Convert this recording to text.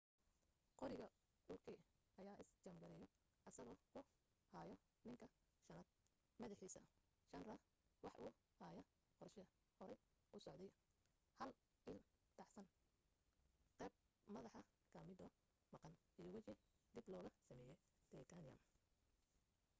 qoriga uka ayaa is jaam gareeyo asagoo ku haayo ninka shanaad madaxiisa schneider wax uu haya qorshe horay usocday hal il dhacsan qeyb madaxa ka midoo maqan iyo waji dib looga sameeye titaniyam